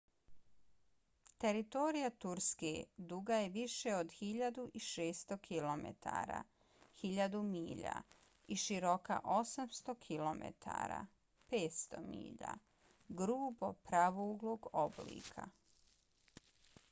teritorija turske duga je više od 1.600 kilometara 1.000 milja i široka 800 km 500 milja grubo pravouglog oblika